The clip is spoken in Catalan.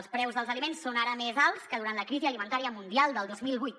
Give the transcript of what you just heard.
els preus dels aliments són ara més alts que durant la crisi alimentària mundial del dos mil vuit